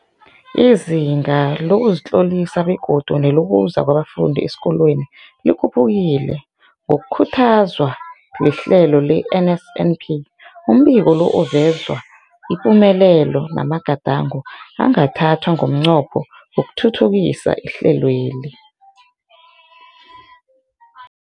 Izinga lokuzitlolisa begodu nelokuza kwabafundi esikolweni likhuphukile ngokukhuthazwa lihlelo le-NSNP. Umbiko lo uveza ipumelelo namagadango angathathwa ngomnqopho wokuthuthukisa ihlelweli.